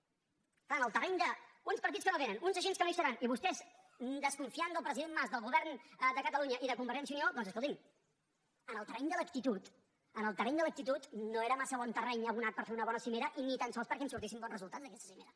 és clar en el terreny d’uns partits que no vénen uns agents que no hi seran i vostès desconfiant del president mas del govern de catalunya i de convergència i unió doncs escolti’m en el terreny de l’actitud en el terreny de l’actitud no era massa bon terreny abonat per fer una bona cimera i ni tan sols perquè en sortissin bons resultats d’aquesta cimera